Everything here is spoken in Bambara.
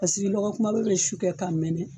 lɔgɔ kunbaba bɛ su kɛ ka mɛnɛ